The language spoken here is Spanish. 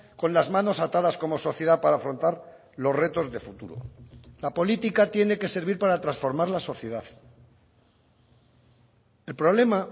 con las manos atadas como sociedad para afrontar los retos de futuro la política tiene que servir para transformar la sociedad el problema